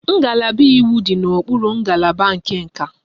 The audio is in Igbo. Ngalaba iwu dị n'okpuru ngalaba nke nka